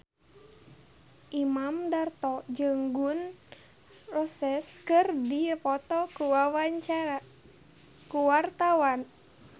Imam Darto jeung Gun N Roses keur dipoto ku wartawan